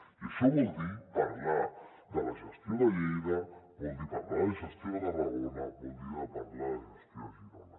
i això vol dir parlar de la gestió de lleida vol dir parlar de la gestió de tarragona vol dir parlar de la gestió de girona